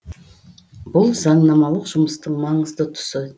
бұл заңнамалық жұмыстың маңызды тұсы